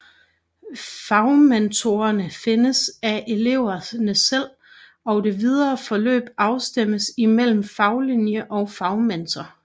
Fagmentorerne findes af eleverne selv og det videre forløb afstemmes i mellem faglinje og fagmentor